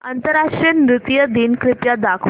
आंतरराष्ट्रीय नृत्य दिन कृपया दाखवच